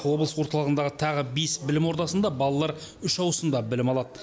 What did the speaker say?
облыс орталығындағы тағы бес білім ордасында балалар үш ауысымда білім алады